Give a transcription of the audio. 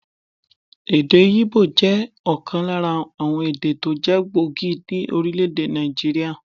Èdè Ígbò jẹ́ òkan lára àwon èdè tó jé gbòógì ní Orílèdè Nàìjíríà